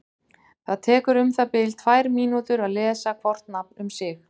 Það tekur um það bil tvær mínútur að lesa hvort nafn um sig.